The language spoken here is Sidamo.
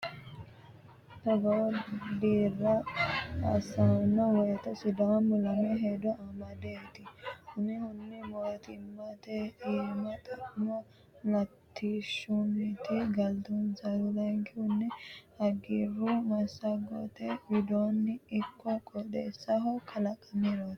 Togo dira assano woyte sidaamu lame hedo amadeti umihunni mootimmate iima xa'mo latishshunniti galtunsaro layinki hagiiru massagote widooni ikko qooxeesaho kalaqamiroti.